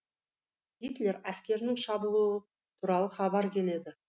гитлер әскерінің шабуылы туралы хабар келеді